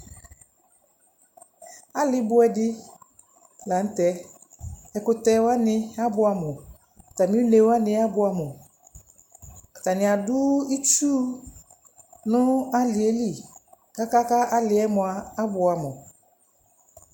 Alɩ bʋɛ dɩ la nʋ tɛ Ɛkʋtɛ wanɩ abʋɛamʋ Atamɩ une wanɩ abʋɛamʋ Atanɩ adʋ itsu nʋ alɩ yɛ li kʋ aka kʋ alɩ yɛ mʋa, abʋɛamʋ